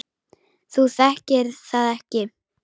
Þú þekkir það ekki!